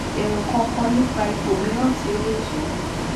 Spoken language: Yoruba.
ero kan kan nipa ipo miran ti o le je